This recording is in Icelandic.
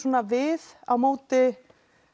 við á móti